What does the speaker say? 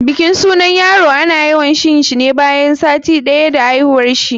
bikin sunan yaro ana yawan yinshi ne bayan sati ɗaya da aihuwarshi.